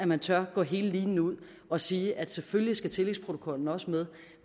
man tør gå linen ud og sige at selvfølgelig skal tillægsprotokollen også med